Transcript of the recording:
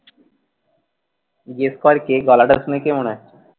Guess কর কে গলাটা শুনে কে মনে হচ্ছে?